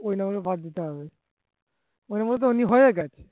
ওই number গুলো বাদ দিতে হবে